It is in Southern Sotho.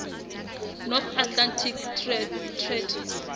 north atlantic treaty